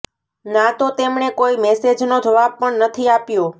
ના તો તેમણે કોઈ મેસેજનો જવાબ પણ નથી આપ્યો